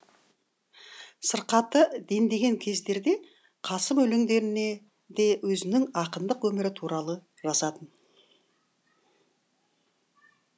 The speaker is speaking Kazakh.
сырқаты дендеген кездерде қасым өлеңдерінде өзінің ақындық өмірі туралы жазатын